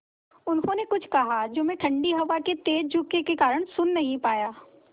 उन्होंने कुछ कहा जो मैं ठण्डी हवा के तेज़ झोंके के कारण सुन नहीं पाया